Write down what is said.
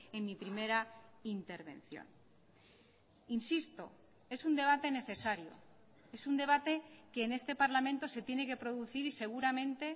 en mi primera intervención insisto es un debate necesario es un debate que en este parlamento se tiene que producir y seguramente